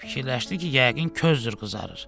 Fikirləşdi ki, yəqin közdür qızarır.